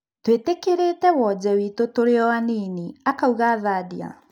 "Twetĩkĩrĩte wonje witũ tũrĩoanini," akauga Thadia